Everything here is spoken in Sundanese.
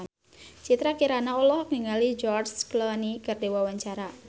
Citra Kirana olohok ningali George Clooney keur diwawancara